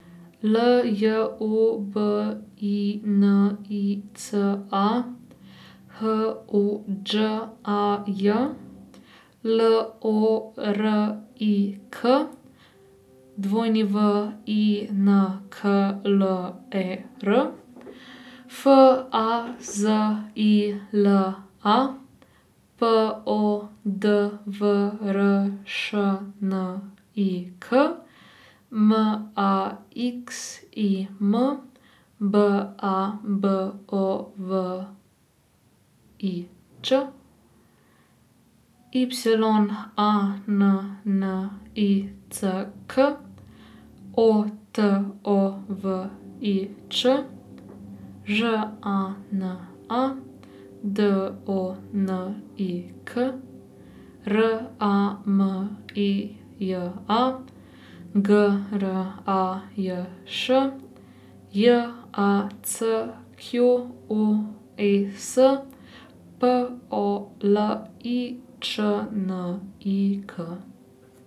L J U B I N I C A, H O Đ A J; L O R I K, W I N K L E R; F A Z I L A, P O D V R Š N I K; M A X I M, B A B O V I Ć; Y A N N I C K, O T O V I Č; Ž A N A, D O N I K; R A M I J A, G R A J Š; J A C Q U E S, P O L I Č N I K.